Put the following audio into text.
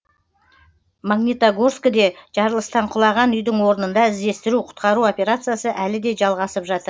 магнитогорскіде жарылыстан құлаған үйдің орнында іздестіру құтқару операциясы әлі де жалғасып жатыр